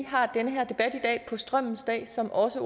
har den her debat i dag på strømmens dag som også